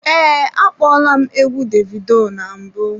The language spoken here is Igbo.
Ee, akpola m egwu Davido na mbụ.